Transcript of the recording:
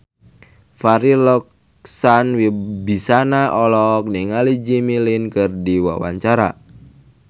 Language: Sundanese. Farri Icksan Wibisana olohok ningali Jimmy Lin keur diwawancara